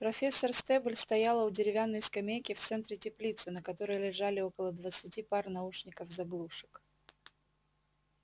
профессор стебль стояла у деревянной скамейки в центре теплицы на которой лежали около двадцати пар наушников-заглушек